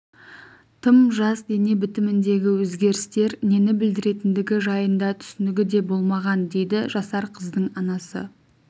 тым жас дене бітіміндегі өзгерістер нені білдіретіндігі жайында түсінігі де болмаған дейді жасар қыздың анасы